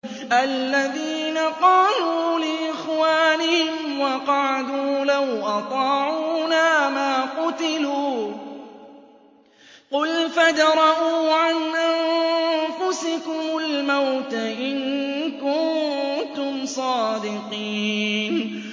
الَّذِينَ قَالُوا لِإِخْوَانِهِمْ وَقَعَدُوا لَوْ أَطَاعُونَا مَا قُتِلُوا ۗ قُلْ فَادْرَءُوا عَنْ أَنفُسِكُمُ الْمَوْتَ إِن كُنتُمْ صَادِقِينَ